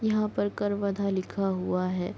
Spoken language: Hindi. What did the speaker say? यहाँ पर कर्वधा लिखा हुआ है।